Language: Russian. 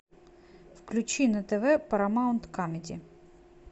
включи на тв парамаунт камеди